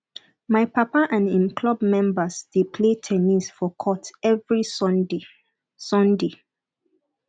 my papa and im club members dey play ten nis for court every sunday sunday